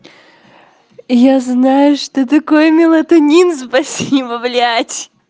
я знаю что такое мелатонин спасибо блять